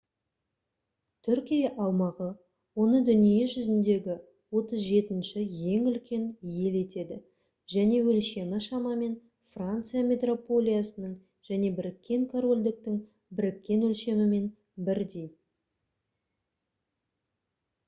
түркия аумағы оны дүние жүзіндегі 37-ші ең үлкен ел етеді және өлшемі шамамен франция метрополиясының және біріккен корольдіктің біріккен өлшемімен бірдей